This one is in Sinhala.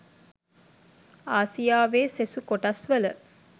ආසියාවේ සෙසු කොටස් වල